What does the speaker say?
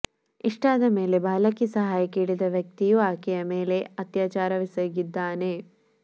ಇಷ್ಟಾದ ಮೇಲೆ ಬಾಲಕಿ ಸಹಾಯ ಕೇಳಿದ ವ್ಯಕ್ತಿಯೂ ಆಕೆಯ ಮೇಲೆ ಅತ್ಯಾಚಾರವೆಸಗಿದ್ದಾನೆ